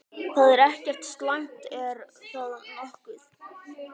Það er ekkert slæmt, er það nokkuð?